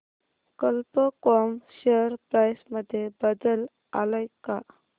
कल्प com share price मध्ये बदल आलाय का